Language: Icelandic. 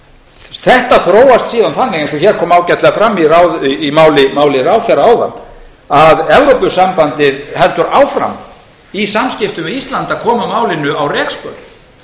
þetta þróast síðan þannig eins og hér kom ágætlega fram í máli ráðherra áðan að evrópusambandið heldur áfram í samskiptum við ísland að koma málinu á rekspöl